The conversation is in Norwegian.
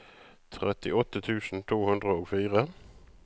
trettiåtte tusen to hundre og fire